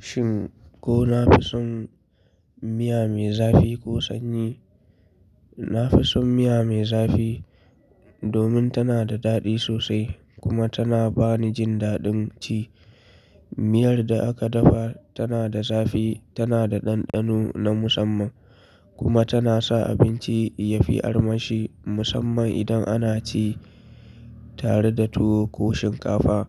Shin ko nafi son miya me zafi ko sanyi? Nafison miya me zafi domin tana da daɗi sosai kuma tana bani jin daɗin ci. Miyar da aka dafa tana da zafi, tana da ɗanɗano na musamman kuma tana sa abinci yafi armashi musamman idan ana ci tare da tuwo ko shinkafa.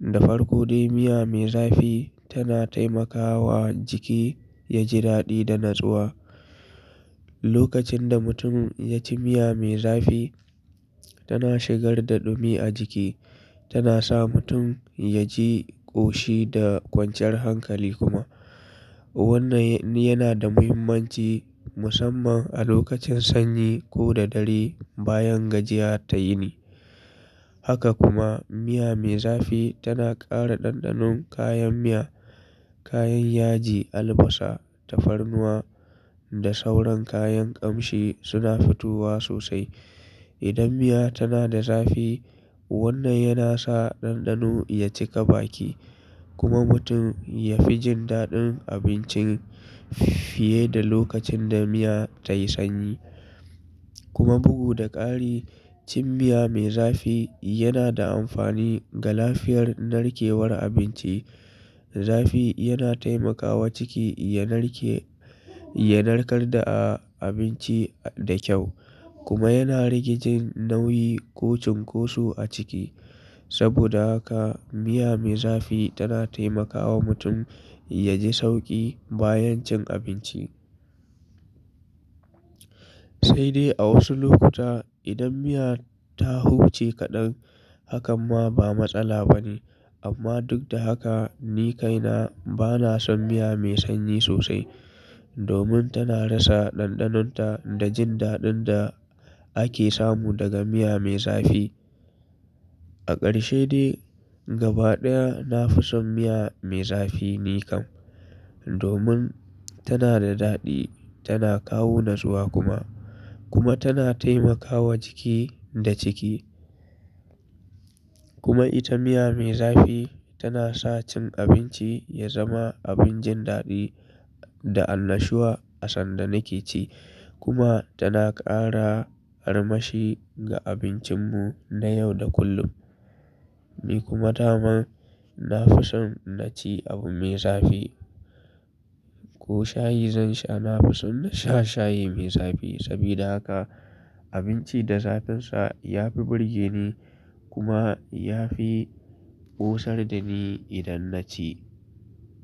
Da farko dai miya me zafi tana taimakawa jiki yaji daɗi da natsuwa. Lokacin da mutum yaci miya me zafi tana shigar da ɗumi a jiki, tana sa mutum yaji ƙoshi da kwanciyar hankali kuma. Wannan yana da muhimmanci musamman a lokacin sanyi ko da dare bayan gajiya ta yini. Haka kuma miya me zafi tana ƙara ɗanɗanon kayan miya, kayan yaji, albasa, tafarnuwa da sauran kayan ƙamshi suna fitowa sosai. Idan miya tana da zafi wannan yana sa ɗanɗano ya cika baki kuma mutum yafi jin daɗin abincin fiye da lokacin da miya tayi sanyi. Kuma bugu da ƙari cin miya me zafi yana da amfani ga lafiyar narkewar abinci. Zafi yana taimakawa ciki ya narke, ya narkar da abinci da kyau kuma yana rage jin nauyi ko cunkoso a ciki. Saboda haka miya me zafi tana taimakawa mutum yaji sauƙi bayan cin abinci. Sai dai a wasu lokuta idan miya ta huce kaɗar hakan ma ba matsala bane. Amma duk da haka ni kaina bana son miya mai sanyi sosai domin tana rasa ɗanɗanonta da jin daɗin da ake samu daga miya me zafi. A ƙarshe dai gaba ɗaya nafison miya me zafi ni kam domin tana da daɗi, tana kawo natsuwa kuma. Kuma tana taimakawa jiki da ciki. Kuma ita miya me zafi tana sa cin abinci ya zama abin jin daɗi da annashuwa asanda nake ci kuma tana ƙara armashi ga abincinmu na yau da kullum. Ni kuma daman nafison naci abu mai zafi. Ko shayi zan sha nafison nasha shayi me zafi. Sabida haka abinci da zafin sa yafi burge ni kuma yafi ƙosar da ni idan naci.